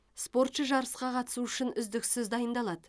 спортшы жарысқа қатысу үшін үздіксіз дайындалады